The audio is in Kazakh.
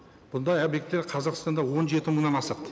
бұндай объекттер қазақстанда он жеті мыңнан асады